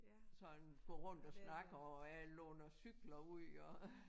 Sådan gå rundt og snakke og jeg låner cykler ud og